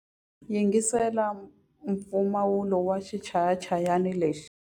Yingisela mpfumawulo wa xichayachayani lexi.